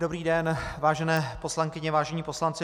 Dobrý den, vážené poslankyně, vážení poslanci.